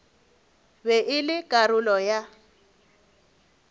be e le karolo ya